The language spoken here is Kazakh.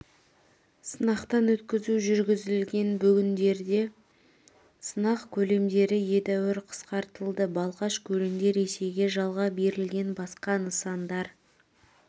сынақтан өткізу жүргізілген бүгіндері сынақ көлемдері едәуір қысқартылды балқаш көлінде ресейге жалға берілген басқа нысандар